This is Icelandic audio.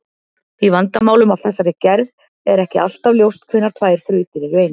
Í vandamálum af þessari gerð er ekki alltaf ljóst hvenær tvær þrautir eru eins.